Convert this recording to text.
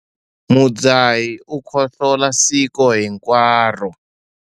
Mudzahi u khohlola siku hinkwaro.